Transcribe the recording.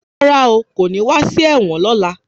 Rárá o, kò ní wá sí ẹ̀wọ̀n lọ́la.